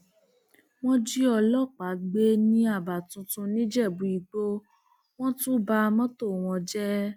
wọn jí ọlọpàá gbé ní aba tuntun nìjẹbúìgbò wọn tún ba mọtò wọn jẹ